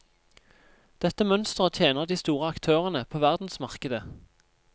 Dette mønsteret tjener de store aktørene på verdensmarkedet.